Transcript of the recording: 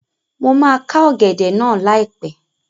Mo máa ká ọ̀gẹ̀dẹ̀ náà láìpẹ́